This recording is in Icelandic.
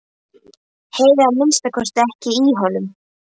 Heyri að minnsta kosti ekki í honum.